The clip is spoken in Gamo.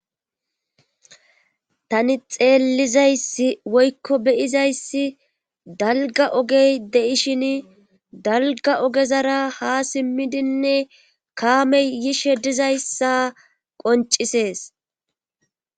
Tani xeellizays woykko beyizayssi dalga ogey de7ishin dalga ogezara ha simmidinne kaamey yishhe dizayssa qoncisees.